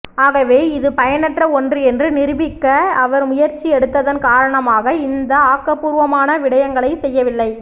ஆகவே இதுபயனற்ற ஒன்று என்று நிரூபிக்க அவர் முயற்சி எடுத்ததன் காரணமாக இந்த ஆக்கபூர்வமான விடயங்களை செய்யவில்லை